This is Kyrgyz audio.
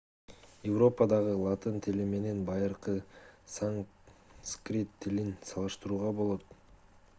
европадагы латын тили менен байыркы санскрит тилин салыштырууга болот